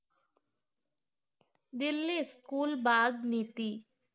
Delhi school bag নীতি